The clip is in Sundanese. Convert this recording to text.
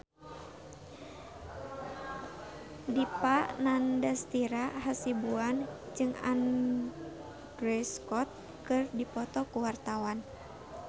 Dipa Nandastyra Hasibuan jeung Andrew Scott keur dipoto ku wartawan